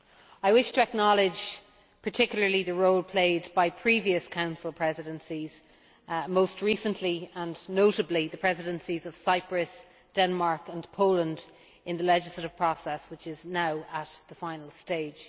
I wish to acknowledge particularly the role played by previous Council Presidencies, most recently and notably the Presidencies of Cyprus, Denmark and Poland, in the legislative process, which is now in its final stage.